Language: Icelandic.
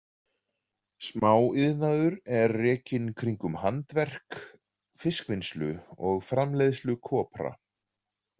Smáiðnaður er rekinn kringum handverk, fiskvinnslu og framleiðslu kopra.